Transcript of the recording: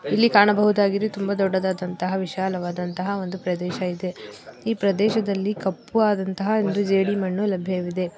ಇಲ್ಲಿ ಕಾಣಬಹುದಾಗಿದೆ ತುಂಬಾ ದೊಡ್ಡದಾದಂತಹ ವಿಶಾಲವಾದಂತಹ ಒಂದು ಪ್ರದೇಶವಿದೆ. ಈ ಪ್ರದೇಶದಲ್ಲಿ ಕಪ್ಪು ಆದಂಥಹ ಒಂದು ಜೇಡಿಮಣ್ಣು ಲಭ್ಯವಿದೆ .